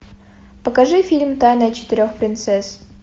покажи фильм тайна четырех принцесс